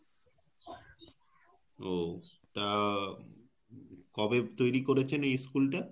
ও তা কবে তৈরি করেছেন এই school টা?